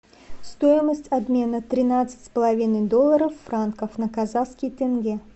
стоимость обмена тринадцать с половиной долларов франков на казахский тенге